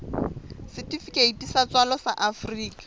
setifikeiti sa tswalo sa afrika